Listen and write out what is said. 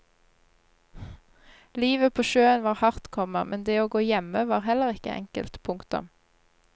Livet på sjøen var hardt, komma men det å gå hjemme var heller ikke enkelt. punktum